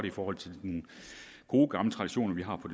i forhold til de gode gamle traditioner vi har på